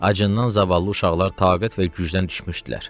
Acından zavallı uşaqlar taqət və gücdən düşmüşdülər.